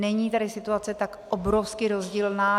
Není tedy situace tak obrovsky rozdílná.